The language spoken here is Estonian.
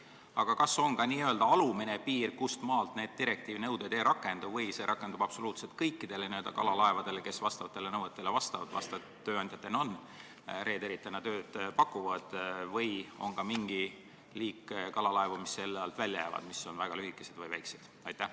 Aga kas on ka n-ö alumine piir, kustmaalt need direktiivi nõuded ei rakendu, või see rakendub absoluutselt kõikide kalalaevade suhtes, mis nendele nõuetele vastavad ja mis tööandjatena, reederitena tööd pakuvad, või on ka mingi liik kalalaevu, mis nende nõuete alt välja jäävad, mis on näiteks väga lühikesed või väiksed?